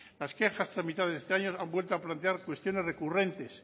las quejas tramitadas este año han vuelto a plantear cuestiones recurrentes